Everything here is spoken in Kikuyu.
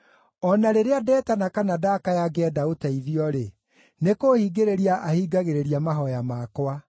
O na rĩrĩa ndetana kana ndakaya ngĩenda ũteithio-rĩ, nĩ kũhingĩrĩria ahingagĩrĩria mahooya makwa.